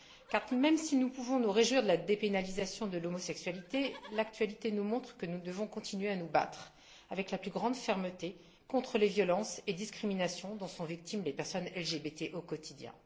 Car, même si nous pouvons nous réjouir de la dépénalisation de l'homosexualité, l'actualité nous montre que nous devons continuer à nous battre avec la plus grande fermeté contre les violences et les discriminations dont sont victimes les personnes LGBT au quotidien.